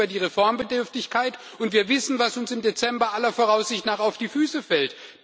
Wir wissen über die Reformbedürftigkeit, und wir wissen, was uns im Dezember aller Voraussicht nach auf die Füße fällt.